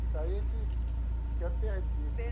Isso aí a gente fica perdido.